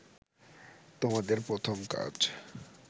তোমাদের প্রথম কাজ